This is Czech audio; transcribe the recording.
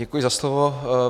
Děkuji za slovo.